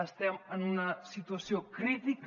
estem en una situació crítica